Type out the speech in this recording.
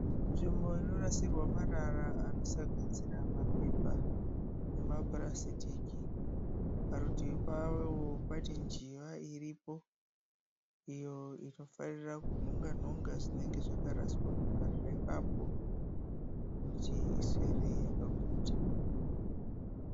Nzvimbo inorasirwa marara anosanganisira mapepa nemapurasitiki parutivi pawo pane njiva iripo iyo inofarira kunhonga nhonga zvinenge zvakaraswa pamarara ipapo kuti iswere yakaguta.